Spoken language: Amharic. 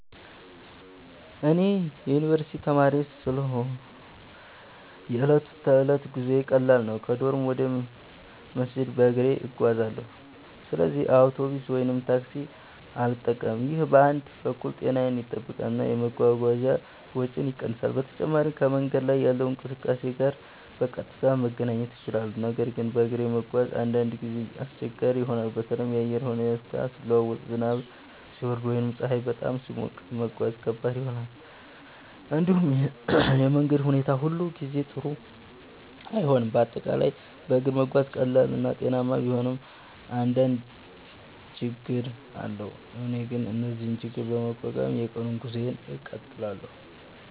እኔ የዩኒቨርስቲ ተማሪ ስለሆንሁ የዕለት ተዕለት ጉዞዬ ቀላል ነው። ከዶርም ወደ መስጂድ በእግሬ እጓዛለሁ፣ ስለዚህ አውቶቡስ ወይም ታክሲ አልጠቀምም። ይህ በአንድ በኩል ጤናዬን ይጠብቃል እና የመጓጓዣ ወጪን ይቀንሳል። በተጨማሪም ከመንገድ ላይ ካለው እንቅስቃሴ ጋር በቀጥታ መገናኘት እችላለሁ። ነገር ግን በእግር መጓዝ አንዳንድ ጊዜ አስቸጋሪ ይሆናል። በተለይ የአየር ሁኔታ ሲለዋወጥ፣ ዝናብ ሲወርድ ወይም ፀሐይ በጣም ሲሞቅ መጓዝ ከባድ ይሆናል። እንዲሁም የመንገድ ሁኔታ ሁሉ ጊዜ ጥሩ አይሆንም፤ በአጠቃላይ በእግር መጓዝ ቀላል እና ጤናማ ቢሆንም አንዳንድ ችግኝ አለው። እኔ ግን እነዚህን ችግኝ በመቋቋም የቀኑን ጉዞዬን እቀጥላለሁ።